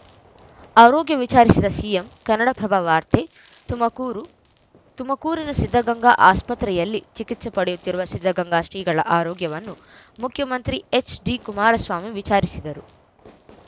ಆರೋಗ್ಯ ವಿಚಾರಿಸಿದ ಸಿಎಂ ಕನ್ನಡಪ್ರಭ ವಾರ್ತೆ ತುಮಕೂರು ತುಮಕೂರಿನ ಸಿದ್ಧಗಂಗಾ ಆಸ್ಪತ್ರೆಯಲ್ಲಿ ಚಿಕಿತ್ಸೆ ಪಡೆಯುತ್ತಿರುವ ಸಿದ್ಧಗಂಗಾ ಶ್ರೀಗಳ ಆರೋಗ್ಯವನ್ನು ಮುಖ್ಯಮಂತ್ರಿ ಎಚ್‌ಡಿ ಕುಮಾರಸ್ವಾಮಿ ವಿಚಾರಿಸಿದರು